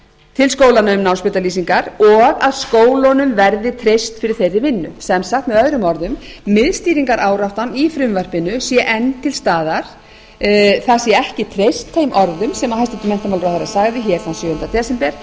til skólanna um námsbrautalýsingar og að skólunum verði treyst fyrir þeirri vinnu sem sagt með öðrum orðum miðstýringaráráttan í frumvarpinu sé enn til staðar það sé ekki treyst þeim orðum sem hæstvirtur menntamálaráðherra sagði þann sjöunda desember